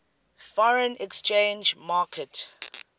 foreign exchange market